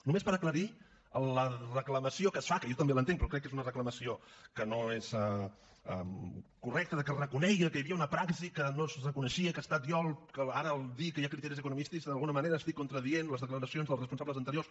només per aclarir la reclamació que es fa que jo també l’entenc però crec que és una reclamació que no és correcta de que es reconegui que hi havia una praxi que no es reconeixia i que he estat jo el que ara al dir que hi ha criteris economicistes d’alguna manera estic contradient les declaracions dels responsables anteriors